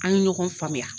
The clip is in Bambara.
An ye ɲɔgɔn faamuya